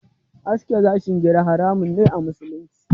Aske gashin gira haramun ne a musulunci.